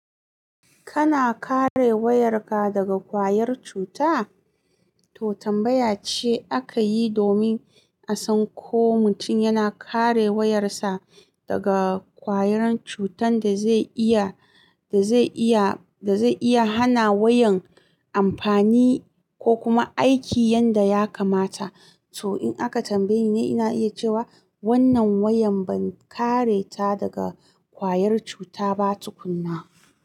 Kana kare wayarka daga kwayar cuta? To tambaya ce aka yi domin a san ko mutum yana kare wayarsa daga kwayar cutan da zai iya, da zai iya, da zai iya hana wayan amfani ko kuma aiki yanda ya kamata. To in aka tambaye ni, ina iya cewa wannan wayan ban kare ta daga kwayar cuta ba tukuna.